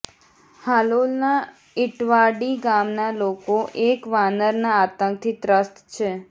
હાલોલના ઇટવાડી ગામના લોકો એક વાનરનાં આતંકથી ત્રસ્ત છે